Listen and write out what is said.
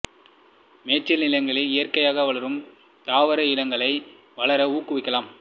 மேய்ச்சல் நிலங்களில் இயற்கையாக வளரும் தாவர இனங்களை வளர ஊக்குவிக்கலாம்